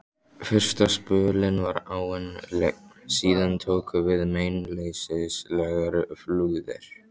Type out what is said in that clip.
Fyrsta spölinn var áin lygn, síðan tóku við meinleysislegar flúðir.